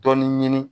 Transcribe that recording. Dɔɔnin ɲini